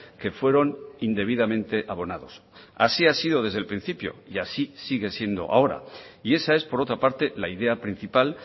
que fueron indebidamente abonados así ha sido desde el principio y así sigue siendo ahora y esa es por otra parte la idea principal